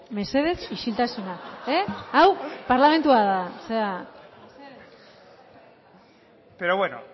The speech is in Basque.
mesedez isiltasuna hau parlamentua da mesedez pero bueno